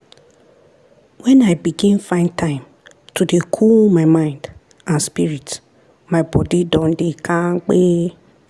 when i begin find time to dey cool my mind and spirit my body don dey kampe